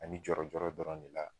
Ani jɔɔrɔ jɔɔrɔ dɔrɔn de la